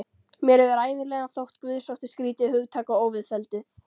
Mér hefur ævinlega þótt guðsótti skrýtið hugtak og óviðfelldið.